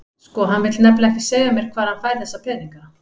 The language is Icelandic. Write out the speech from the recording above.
Sko, hann vill nefnilega ekki segja mér hvar hann fær þessa peninga.